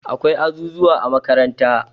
Akwai azuzuwa a makaranta